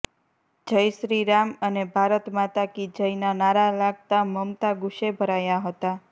જય શ્રી રામ અને ભારત માતા કી જયનાં નારાં લાગતાં મમતા ગુસ્સે ભરાયા હતા